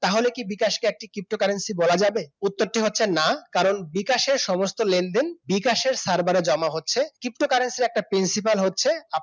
তাহলে কি বিকাশ কে একটি ptocurrency বলা যাবে উত্তরটি হচ্ছে না কারণ বিকাশের সমস্ত লেনদেন বিকাশের server জমা হচ্ছে ptocurrency র একটা principal হচ্ছে আপনি